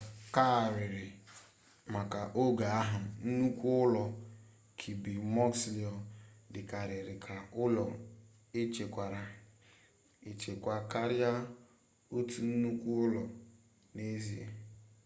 aụkarịrị maka oge ahụ nnukwu ụlọ kirby muxloe dịkarịrị ka ụlọ echekwara echekwa karịa otu nnukwu ụlọ n'ezie